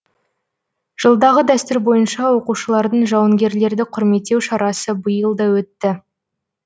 жылдағы дәстүр бойынша оқушылардың жауынгерлерді құрметтеу шарасы биыл да өтті